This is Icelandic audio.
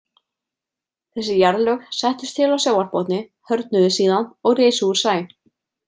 Þessi jarðlög settust til á sjávarbotni, hörðnuðu síðan og risu úr sæ.